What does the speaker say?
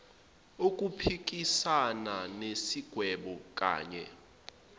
ukuphikissana nesigwebo knye